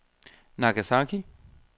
Nagasaki